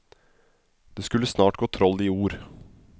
Det skulle snart gå troll i ord.